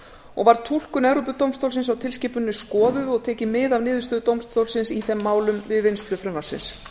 og var túlkun evrópudómstólsins á tilskipuninni skoðuð og tekið mið af niðurstöðu dómstólsins í þeim málum við vinnslu frumvarpsins